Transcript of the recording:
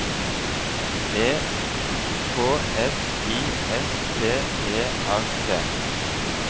E K S I S T E R T